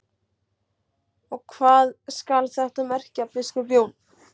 Og hvað skal þetta merkja, biskup Jón?